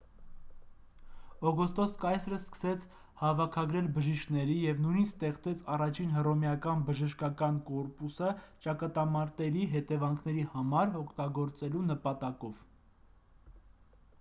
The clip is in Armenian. օգոստոս կայսրը սկսեց հավաքագրել բժիշկների և նույնիսկ ստեղծեց առաջին հռոմեական բժշկական կորպուսը ճակատամարտերի հետևանքների համար օգտագործելու նպատակով